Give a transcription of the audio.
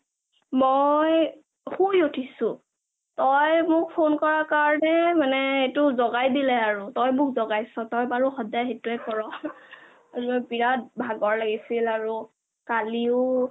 মই শুই উথিছো তই মোক phone কৰা কাৰণে মানে এইটো জগাই দিলে আৰু তই মোক জগাইছ তই বাৰু সহায় সেইটোয়ে ক'ৰ বিৰাত ভাগৰ লাগিছিল আৰু কালিও